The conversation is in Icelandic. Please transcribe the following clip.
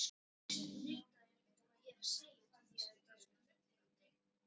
Pabbi þinn og mamma eru ekki enn farin að spyrja um mitt leyfi.